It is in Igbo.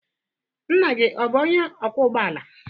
Nna gị ọ bụ onye ọkwọ ụgbọala?